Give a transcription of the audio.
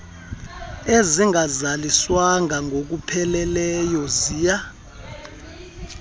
ezingazaliswanga ngokupheleleyo ziya